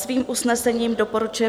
Svým usnesením doporučuje